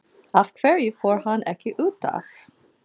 Af hverju fór hann ekki útaf?